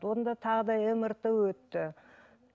онда тағы да мрт өтті